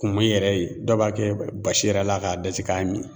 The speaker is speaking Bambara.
Kumin yɛrɛ ye dɔw b'a kɛ basi yɛrɛ la k'a daji k'a min.